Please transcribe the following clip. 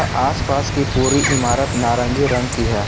आस पास की पूरी इमारत नारंगी रंग की है।